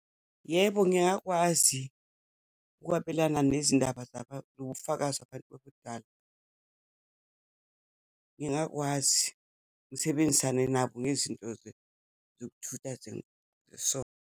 Yebo, ngingakwazi ukwabelana nezindaba zobufakazi abantu abadala, ngingakwazi, ngisebenzisane nabo nezinto zokuthutha .